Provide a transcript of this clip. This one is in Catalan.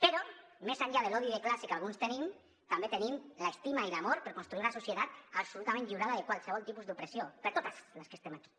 però més enllà de l’odi de classe que alguns tenim també tenim l’estima i l’amor per construir una societat absolutament deslliurada de qualsevol tipus d’opressió per a totes les que estem aquí